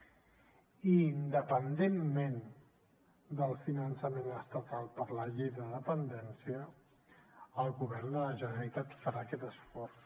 i independentment del finançament estatal per la llei de dependència el govern de la generalitat farà aquest esforç